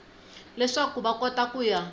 leswaku va kota ku ya